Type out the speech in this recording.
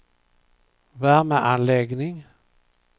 värmeanläggning